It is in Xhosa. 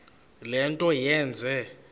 le nto yenze